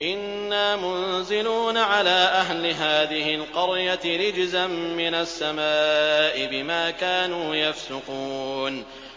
إِنَّا مُنزِلُونَ عَلَىٰ أَهْلِ هَٰذِهِ الْقَرْيَةِ رِجْزًا مِّنَ السَّمَاءِ بِمَا كَانُوا يَفْسُقُونَ